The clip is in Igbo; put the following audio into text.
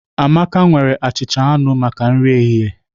Amaka nwere achịcha anụ maka nri ehihie